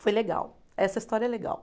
Foi legal, essa história é legal.